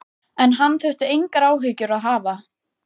En hann þurfi engar áhyggjur að hafa.